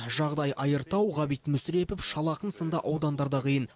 жағдай айыртау ғабит мүсірепов шал ақын сынды аудандарда қиын